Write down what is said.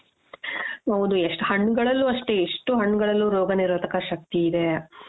ಹೌದು ಎಷ್ಟು ಹಣ್ಣುಗಳಲ್ಲೂ ಅಷ್ಟೇ ಎಷ್ಟು ಹಣ್ಣುಗಳಲ್ಲೂ ರೋಗನಿರೋಧಕ ಶಕ್ತಿ ಇದೆ